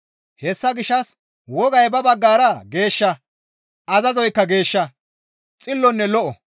Hessa gishshas wogay ba baggara geeshsha; azazoykka geeshsha; xillonne lo7o.